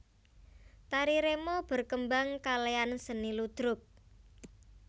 Tari remo berkembang kalean seni ludruk